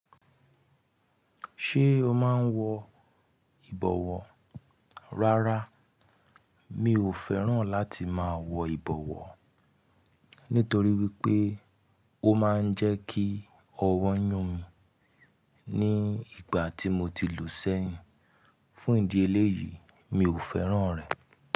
Ṣé o máa ń wọ ìbọwọ́? Rárá, mi ò fẹ́ràn láti máa wọ ìbọwọ́ nítorí wípé ó máa ń jẹ́ kí ọwọ́ yún mi ní ìgbà tí mo ti lù ú sẹ́yìn. Fún ìdí eléyìí, mi ò fẹ́ràn rẹ̀.